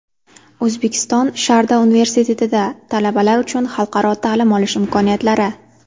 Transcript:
O‘zbekistonSharda universitetida talabalar uchun xalqaro ta’lim olish imkoniyatlari.